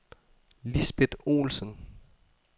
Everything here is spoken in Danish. Lisbeth Olsen